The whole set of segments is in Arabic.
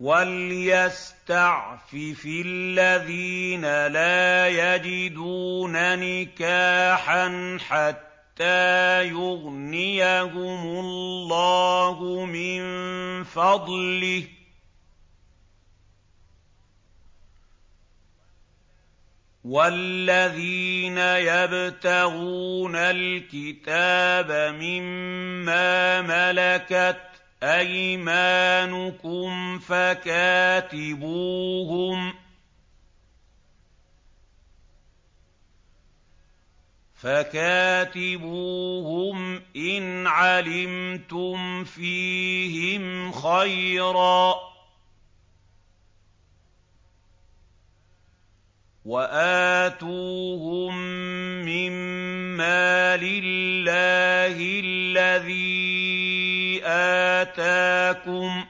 وَلْيَسْتَعْفِفِ الَّذِينَ لَا يَجِدُونَ نِكَاحًا حَتَّىٰ يُغْنِيَهُمُ اللَّهُ مِن فَضْلِهِ ۗ وَالَّذِينَ يَبْتَغُونَ الْكِتَابَ مِمَّا مَلَكَتْ أَيْمَانُكُمْ فَكَاتِبُوهُمْ إِنْ عَلِمْتُمْ فِيهِمْ خَيْرًا ۖ وَآتُوهُم مِّن مَّالِ اللَّهِ الَّذِي آتَاكُمْ ۚ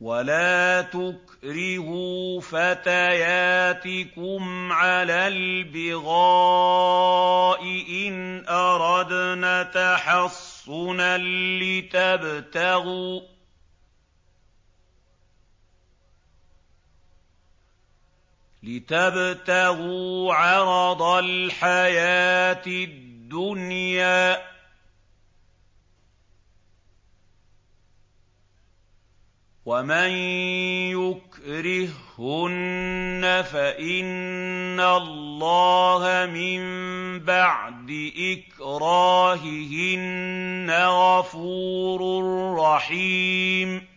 وَلَا تُكْرِهُوا فَتَيَاتِكُمْ عَلَى الْبِغَاءِ إِنْ أَرَدْنَ تَحَصُّنًا لِّتَبْتَغُوا عَرَضَ الْحَيَاةِ الدُّنْيَا ۚ وَمَن يُكْرِههُّنَّ فَإِنَّ اللَّهَ مِن بَعْدِ إِكْرَاهِهِنَّ غَفُورٌ رَّحِيمٌ